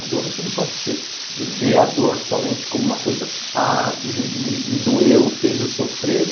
A dor, você não pode ver a dor somente como uma coisa, ah, me me me doeu, fez eu sofrer.